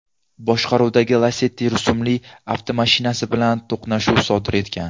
boshqaruvidagi Lacetti rusumli avtomashinasi bilan to‘qnashuv sodir etgan.